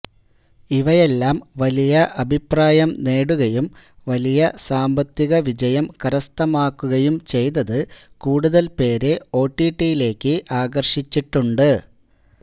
ഇവയെല്ലാം വലിയ അഭിപ്രായം നേടുകയും വലിയ സാമ്പത്തികവിജയം കരസ്ഥമാക്കുകയും ചെയ്തത് കൂടുതൽപേരെ ഒടിടിയിലേയ്ക്ക് ആകർഷിച്ചിട്ടുണ്ട്